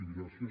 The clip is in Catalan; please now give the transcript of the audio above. i gràcies